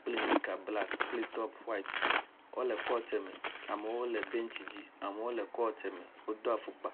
kple nika black kple top white, wole court me, amerwo le bentsi dzi amewo le court me wodo afɔkpa.